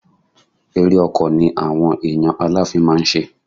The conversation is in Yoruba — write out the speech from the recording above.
Ere ọkọ̀ ni àwọn èèyàn Aláàfin máa ń ṣe.